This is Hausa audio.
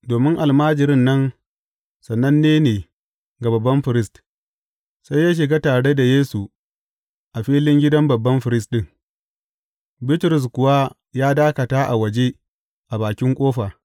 Domin almajirin nan sananne ne ga babban firist, sai ya shiga tare da Yesu a filin gidan babban firist ɗin, Bitrus kuwa ya dakata a waje a bakin ƙofa.